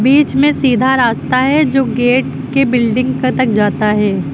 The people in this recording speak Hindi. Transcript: बीच में सीधा रास्ता है जो गेट के बिल्डिंग का तक जाता है।